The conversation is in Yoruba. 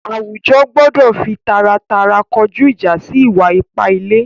Àwújọ̀ gbọdọ̀ fí tàràtàrà kọjú ìjà̀ sí ìwà-ìpà ìlẹ̀.